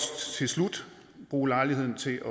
til slut bruge lejligheden til